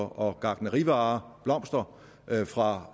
og gartnerivarer blomster fra